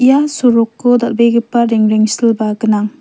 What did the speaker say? ian soroko dal·begipa rengrengsilba gnang.